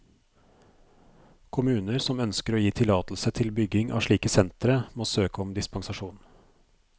Kommuner som ønsker å gi tillatelse til bygging av slike sentre, må søke om dispensasjon.